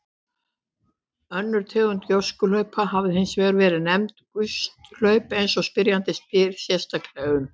Önnur tegund gjóskuhlaupa hafa hins vegar verið nefnd gusthlaup eins og spyrjandi spyr sérstaklega um.